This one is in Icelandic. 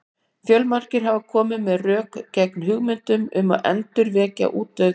Fjölmargir hafa komið með ýmis rök gegn hugmyndum um að endurvekja útdauð dýr.